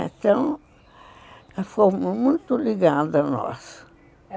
Então... Ela ficou muito ligada a nós.